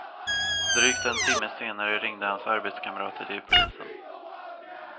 Drygt en timme senare ringde hans arbetskamrater till polisen.